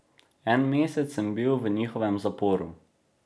En mesec sem bil v njihovem zaporu.